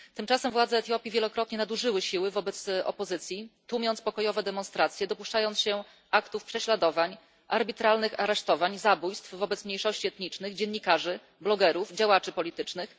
Tymczasem władze Etiopii wielokrotnie nadużyły siły wobec opozycji, tłumiąc pokojowe demonstracje, dopuszczając się aktów prześladowań, arbitralnych aresztowań i zabójstw wobec mniejszości etnicznych, dziennikarzy, blogerów i działaczy politycznych.